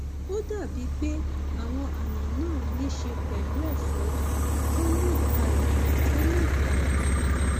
ó dàbíi pé àwọn àmì náà níí ṣe pẹlú ẹfọrí tó mú ìpayà tó mú ìpayà dání